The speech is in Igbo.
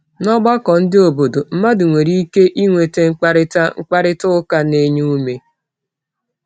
N’ọgbakọ ndị obodo, mmadụ nwere ike inwe mkparịta mkparịta ụka na-enye ume.